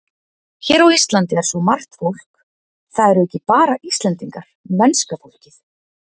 Hér á Íslandi er svo margt fólk, það eru ekki bara Íslendingarnir, mennska fólkið.